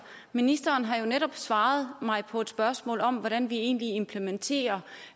ministeren har jo netop svaret mig på et spørgsmål om hvordan vi egentlig implementerer